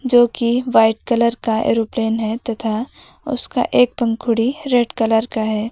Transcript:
जो कि white colour का एरोप्लेन है तथा उसका एक पंखुड़ी रेड कलर का है।